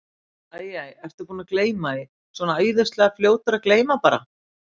Æ, æ, ertu búinn að gleyma því. svona æðislega fljótur að gleyma bara.